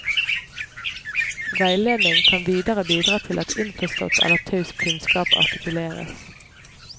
Veiledning kan videre bidra til at innforstått eller taus kunnskap artikuleres.